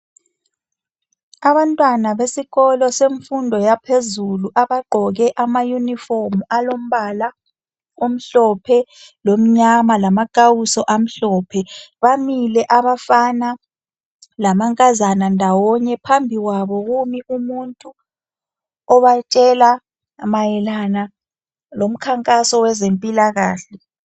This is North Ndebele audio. Abantwana besikolo semfundo yaphezulu abagqoke ama uniform alombala omhlophe lomnyama, lamakawuso amhlophe. Bamile abafana lamankazana ndawonye. Phambi kwabo kumi umuntu obatshela mayelana lomkhankaso wezempilakahle.